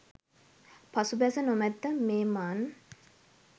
පසු බැස නොමැත මෙමන්